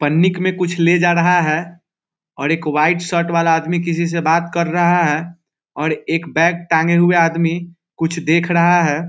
पन्नीक में कुछ ले जा रहा है और एक व्हाइट शर्ट वाला आदमी किसी से बात कर रहा है और एक बैग टांगे हुए आदमी कुछ देख रहा है।